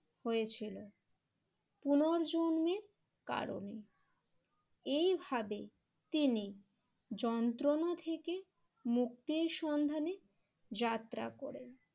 হয়েছিল পুনর্জন্মের কারণেই। এইভাবে তিনি যন্ত্রণা থেকে মুক্তির সন্ধানে যাত্রা করেন।